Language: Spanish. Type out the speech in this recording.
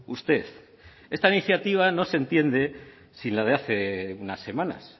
usted esta iniciativa no se entiende sin la de hace unas semanas